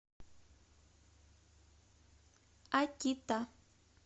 акита